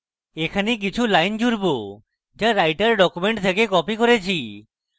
এখানে কিছু lines জুড়ব যা আমি writer document থেকে copied করেছি